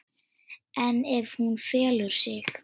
En ef hún felur sig?